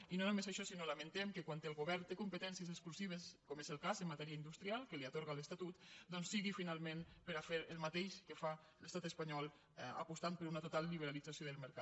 i no només això sinó que lamentem que quan el govern té competències exclusives com és el cas en matèria industrial que les hi atorga l’estatut doncs sigui finalment per a fer el mateix que fa l’estat espanyol i aposti per una total liberalització del mercat